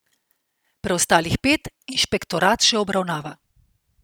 Preostalih pet inšpektorat še obravnava.